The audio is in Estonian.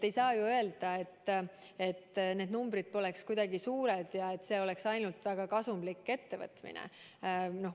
Ei saa ju öelda, et need numbrid poleks suured ja see oleks ainult väga kasumlik ettevõtmine.